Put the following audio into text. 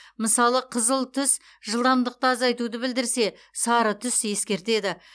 мысалы қызыл түс жылдамдықты азайтуды білдірсе сары түс ескертеді